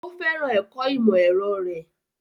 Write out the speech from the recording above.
Ó fẹ́ràn ẹ̀kọ́ ìmọ̀-ẹ̀rọ rẹ̀.